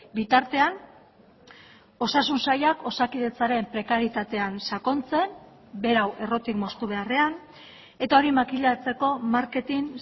bitartean osasun sailak osakidetzaren prekarietatean sakontzen berau errotik moztu beharrean eta hori makilatzeko marketing